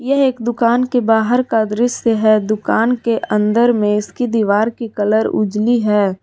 यह एक दुकान के बाहर का दृश्य है दुकान के अंदर में इसकी दीवार की कलर उजली है।